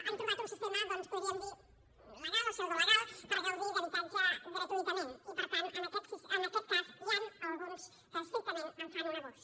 han trobat un sistema doncs en podríem dir legal o pseudolegal per gaudir d’habitatge gratuïtament i per tant en aquest cas n’hi han alguns que estrictament en fan un abús